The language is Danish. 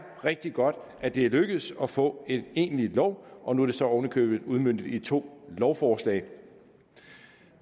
rigtig godt at det er lykkedes at få en egentlig lov og nu er det så oven i købet udmøntet i to lovforslag